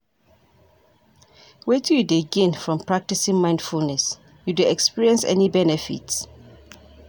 Wetin you dey gain from practicing mindfulness, you dey experience any benefits?